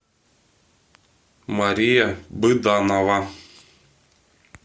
мария быданова